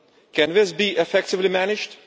Can this be effectively managed?